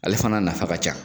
Ale fana nafa ka ca.